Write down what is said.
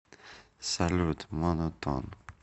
салют моно тон